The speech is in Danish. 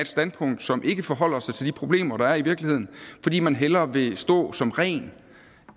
standpunkt som ikke forholder sig til de problemer der er i virkeligheden fordi man hellere vil stå som ren